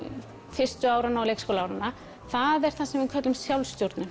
fyrstu áranna og leikskólaáranna það er það sem við köllum